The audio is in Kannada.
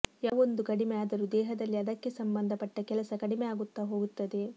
ಯಾವೊಂದು ಕಡಿಮೆ ಆದರೂ ದೇಹದಲ್ಲಿ ಅದಕ್ಕೆ ಸಂಭಂದ ಪಟ್ಟ ಕೆಲಸ ಕಡಿಮೆ ಆಗುತ್ತಾ ಹೋಗುತ್ತದೆ